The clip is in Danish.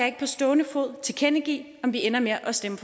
ikke på stående fod tilkendegive om vi ender med at stemme